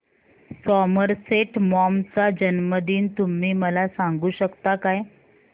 Somerset Maugham चा जन्मदिन तुम्ही मला सांगू शकता काय